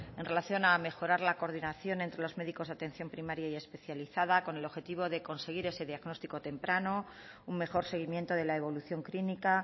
en relación a mejorar la coordinación entre los médicos de atención primaria y especializada con el objetivo de conseguir ese diagnóstico temprano un mejor seguimiento de la evolución clínica